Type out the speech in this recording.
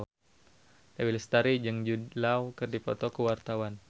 Dewi Lestari jeung Jude Law keur dipoto ku wartawan